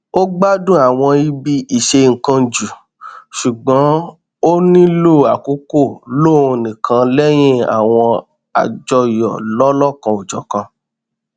ó gbádùn àwọn ibi ìṣennkan jù ṣùgbọn ó nílò àkókò lóhun nìkan lẹyìn àwọn àjọyọ lọlọkanòjọkan